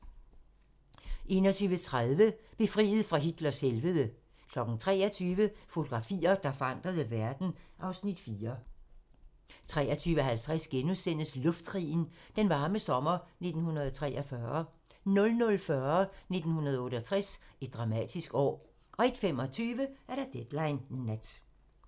21:30: Befriet fra Hitlers helvede 23:00: Fotografier, der forandrede verden (Afs. 4) 23:50: Luftkrigen - Den varme sommer 1943 * 00:40: 1968 - et dramatisk år 01:25: Deadline Nat